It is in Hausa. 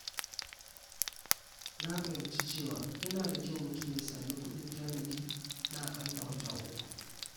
Na fahimci cewa yana da kyau mutum ya sami kuɗin tanadi na akalla wata uku.